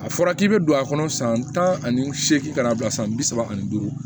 A fɔra k'i bɛ don a kɔnɔ san tan ani seekin ka na bila san bi saba ani duuru